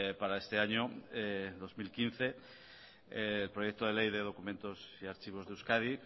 para este año dos mil quince el proyecto de ley de documentos y archivos de euskadi